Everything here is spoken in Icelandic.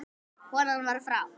Konan var frá